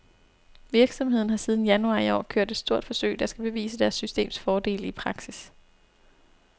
Virksomheden har siden januar i år kørt et stort forsøg, der skal bevise deres systems fordele i praksis.